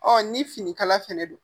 ni finikala fɛnɛ don